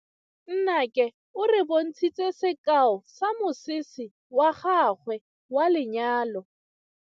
Nnake o re bontshitse sekaô sa mosese wa gagwe wa lenyalo.